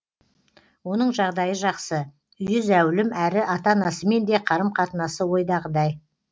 оның жағдайы жақсы үйі зәулім әрі ата анасымен де қарым қатынасы ойдағыдай